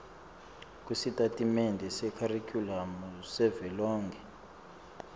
kwesitatimende sekharikhulamu savelonkhe